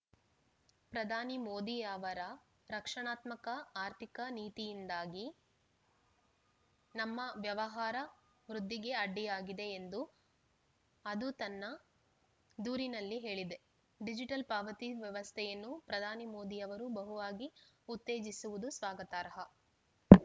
ಪ್ರಧಾನಿ ಮೋದಿ ಅವರ ರಕ್ಷಣಾತ್ಮಕ ಆರ್ಥಿಕ ನೀತಿಯಿಂದಾಗಿ ನಮ್ಮ ವ್ಯವಹಾರ ವೃದ್ಧಿಗೆ ಅಡ್ಡಿಯಾಗಿದೆ ಎಂದು ಅದು ತನ್ನ ದೂರಿನಲ್ಲಿ ಹೇಳಿದೆ ಡಿಜಿಟಲ್‌ ಪಾವತಿ ವ್ಯವಸ್ಥೆಯನ್ನು ಪ್ರಧಾನಿ ಮೋದಿ ಅವರು ಬಹುವಾಗಿ ಉತ್ತೇಜಿಸುವುದು ಸ್ವಾಗತಾರ್ಹ